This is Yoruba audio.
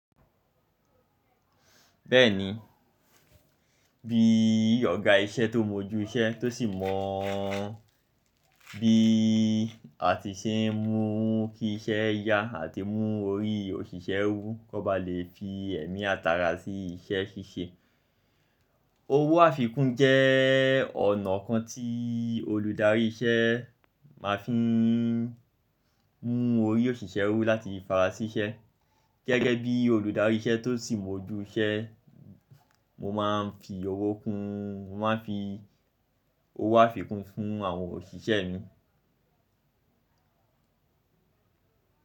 Bẹ́ẹ̀ni, bíi ọ̀gá iṣẹ́ tó mọjú iṣẹ́ tó sì mọ bí a ti ṣe ń mú kí iṣẹ́ yá àti mú orí òṣìṣẹ́ wu, kan ba lè fi ẹ̀mí àt'ara sí iṣẹ́ ṣíṣe. Owó àfikún jẹ́ ọ̀nà kan tí olùdarí iṣẹ́ máa fi ń mú orí òṣìṣẹ́ wú láti fara sí iṣẹ́. Gẹ́gẹ́ bí olùdarí iṣẹ́ tó sì mọ ojú iṣẹ́, mo máa ń fi owó kún, mo máa ń fi owó àfikún fún àwọn òṣìṣẹ́ mi.